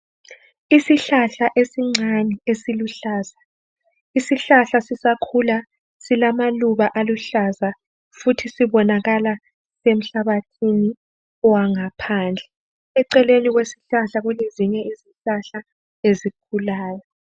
Isihlahla esincane esiluhlaza. Isihlahla sisakhula silamaluba aluhlaza futhi sibonakala emhlabathini owangaphandle, eceleni kwesihlahla kulezinye izihlahla ezikhulayo.